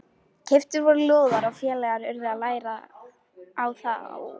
Stígvélaður leggur var nú sýnilegur í gættinni.